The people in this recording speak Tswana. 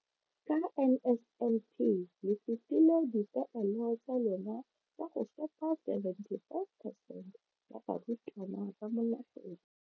ka NSNP le fetile dipeelo tsa lona tsa go fepa 75 percent ya barutwana ba mo nageng.